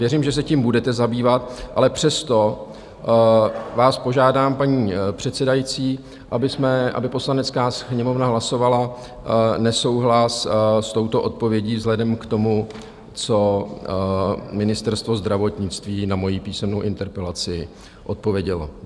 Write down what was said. Věřím, že se tím budete zabývat, ale přesto vás požádám, paní předsedající, aby Poslanecká sněmovna hlasovala nesouhlas s touto odpovědí vzhledem k tomu, co Ministerstvo zdravotnictví na moji písemnou interpelaci odpovědělo.